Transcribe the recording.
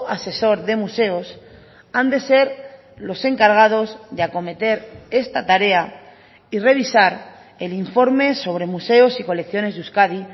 asesor de museos han de ser los encargados de acometer esta tarea y revisar el informe sobre museos y colecciones de euskadi